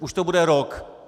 Už to bude rok.